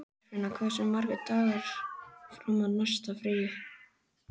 Geirfinna, hversu margir dagar fram að næsta fríi?